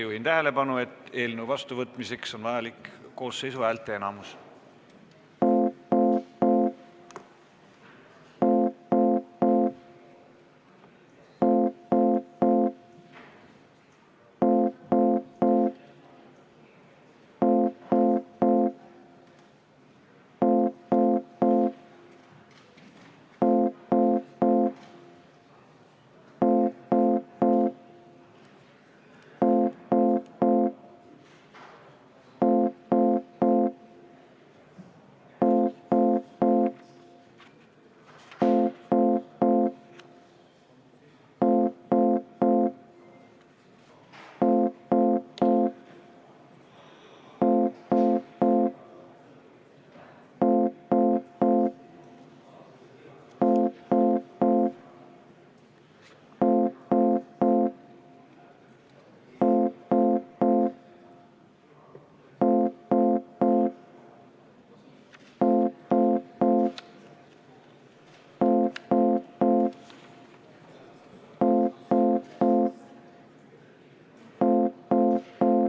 Juhin tähelepanu, et eelnõu vastuvõtmiseks on vajalik koosseisu häälteenamus.